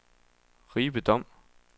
Ribe Dom